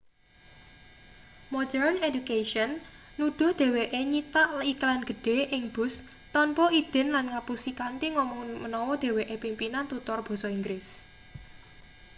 modern education nuduh dheweke nyitak iklan gedhe ing bus tanpa idin lan ngapusi kanthi ngomong menawa dheweke pimpinan tutor basa inggris